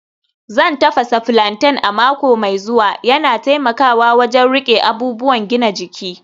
Zan tafasa plantain a mako mai zuwa, yana taimakawa wajen riƙe abubuwan gina jiki